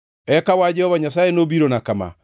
Eka wach Jehova Nyasaye nobirona kama: